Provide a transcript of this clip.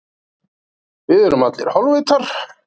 Hvað þarf ég raunverulega?